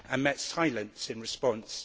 I met silence in response.